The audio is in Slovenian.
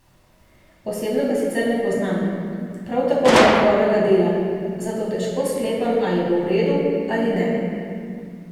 Osebno ga sicer ne poznam, prav tako ne njegovega dela, zato težko sklepam, ali bo v redu ali ne.